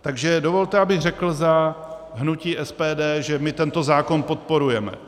Takže dovolte, abych řekl za hnutí SPD, že my tento zákon podporujeme.